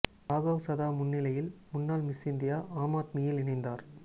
ராகவ் சதா முன்னிலையில் முன்னாள் Miss India Aam ஆத்மியில் இணைந்தார்